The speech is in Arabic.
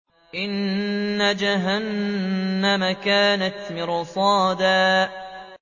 إِنَّ جَهَنَّمَ كَانَتْ مِرْصَادًا